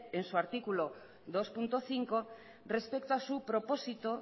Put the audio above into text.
en su artículo dos punto cinco respecto a su propósito